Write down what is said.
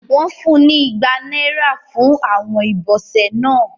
Wón fún ní igbá náírà fún Àwọn ibọsẹ náà